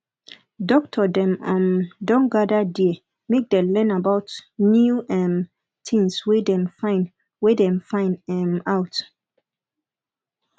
doctor dem um don gada there make dem learn about new um tins wey dem find wey dem find um out